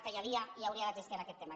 que hi havia i hauria d’existir en aquest tema